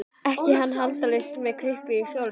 Ekki var hann handalaus með kryppu í hjólastól.